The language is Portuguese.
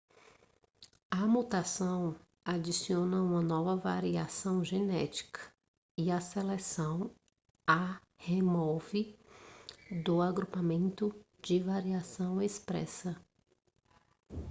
a mutação adiciona uma nova variação genética e a seleção a remove do agrupamento de variação expressa